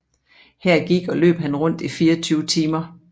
Her gik og løb han rundt i 24 timer